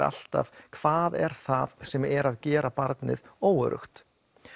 alltaf hvað er það sem er að gera barnið óöruggt